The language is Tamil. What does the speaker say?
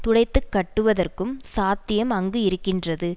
துடைத்து கட்டுவதற்கும் சாத்தியம் அங்கு இருக்கின்றது